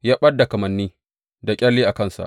Ya ɓad da kamanni da ƙyalle a kansa.